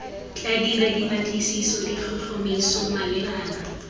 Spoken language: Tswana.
tla dira dipatlisiso ditlhotlhomiso malebana